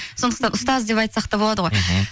сондықтан ұстаз деп айтсақ та болады ғой мхм